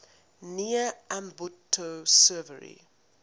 near ambato severely